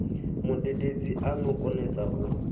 mudededzi a no konesa u